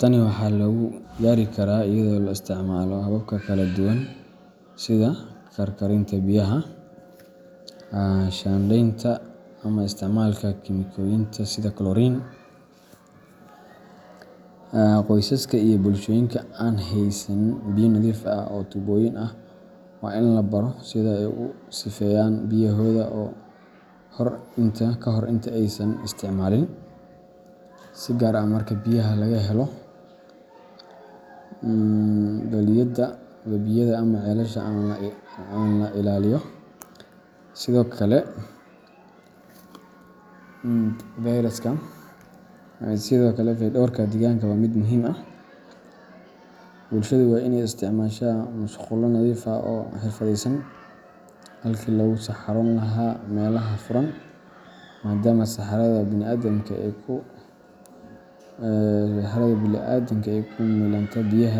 Tani waxaa lagu gaari karaa iyadoo la isticmaalayo habab kala duwan sida karkarinta biyaha, shaandhaynta, ama isticmaalka kiimikooyinka sida chlorine. Qoysaska iyo bulshooyinka aan haysan biyo nadiif ah oo tuubooyin ah waa in la baro sida ay u sifeeyaan biyahooda ka hor inta aysan isticmaalin, si gaar ah marka biyaha laga helo balliyada, webiyada, ama ceelasha aan la ilaaliyo. Sidoo kale, fayadhowrka deegaanka waa mid muhiim ah. Bulsahadu waa inay isticmaashaa musqulo nadiif ah oo xirfadeysan halkii lagu saxaroon lahaa meelaha furan, maadaama saxarada bini'aadamka ee ku milanta biyaha.